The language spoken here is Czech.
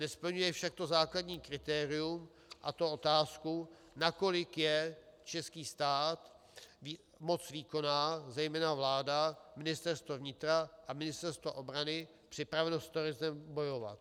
Nesplňuje však to základní kritérium, a to otázku, nakolik je český stát, moc výkonná, zejména vláda, Ministerstvo vnitra a Ministerstvo obrany připraveno s terorismem bojovat.